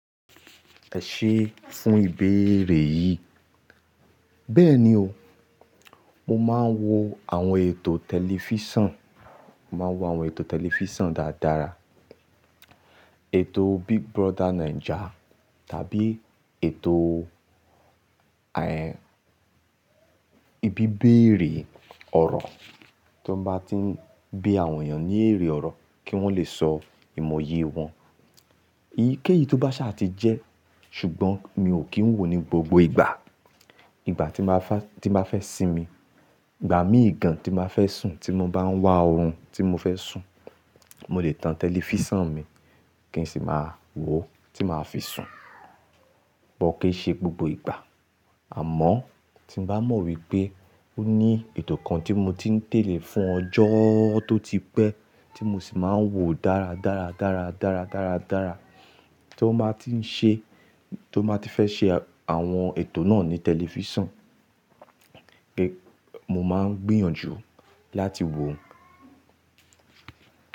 Ẹ ṣé fún ìbéèrè yìí. Bẹ́ẹ̀ni o, mo máa ń wo àwọn ètò tẹlifíṣàn, màá ń wo àwọn ètò tẹlifíṣàn dáadára. Ètò Big Brother Naija tàbí ètò, ìbíbéèrè ọ̀rọ̀ tó bá ti ń bí àwọn èèyàn ní èrè ọ̀rọ̀ kí wọ́n lè sọ ìmọ̀ye wọn. Eyíkéyìí tó bá ṣe àti jẹ́ ṣùgbọ́n mi ò kí ń wò ó ní gbogbo ìgbà. Ìgbà tí mbá fa, tí mbá fẹ́ sinmi, ìgbà mí ìgàn tí mbá fẹ́ sùn tí mo bá ń wá oorun tí mo fẹ́ sùn, mo lè tan tẹlifíṣàn mi kí n sì máa wò ó tí màá fi sùn. Bó keí ṣe gbogbo ìgbà àmọ́ tí mo bá mọ̀ wípé ó ní ètò kan tí mo ti ń tẹ̀lé fún ọjọ́ tó ti pẹ́ tí mo sì máa ń wò ó dáradára, dáradára, dáradára tí ó mba ti ń ṣe, tí ó mba ti fẹ́ ṣe àwọn ètò náà ní tẹlifíṣàn pé mo máa ń gbìyànjú láti wò ó.